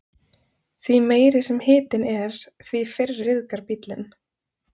Því meiri sem hitinn er, því fyrr ryðgar bíllinn.